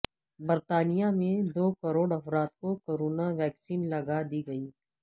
برطانیہ میں دو کروڑ افراد کو کرونا ویکسین لگا دی گئی